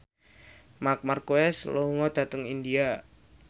Marc Marquez lunga dhateng India